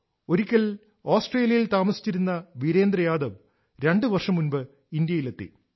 ഒരിക്കൽ ഓസ്ട്രേലിയയിൽ താമസിച്ചിരുന്ന വീരേന്ദ്ര യാദവ് രണ്ട് വർഷം മുമ്പ് ഇന്ത്യയിലെത്തി